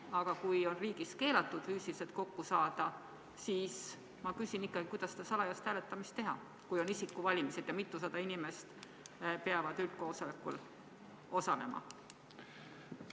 Aga kui riigis on keelatud füüsiliselt kokku saada, siis kuidas salajast hääletamist teha, kui on isikuvalimised ja mitusada inimest peab üldkoosolekul osalema?